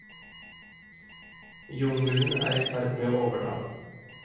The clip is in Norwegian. Jungelen er i ferd med å overta.